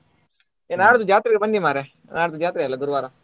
ಏ ನಾಡಿದ್ದು ಜಾತ್ರೆ ಗೆ ಬನ್ನಿ ಮಾರ್ರೆ ನಾಡಿದ್ದು ಜಾತ್ರೆ ಅಲ್ಲ ಗುರುವಾರ.